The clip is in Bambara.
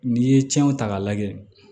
N'i ye cɛnw ta k'a lajɛ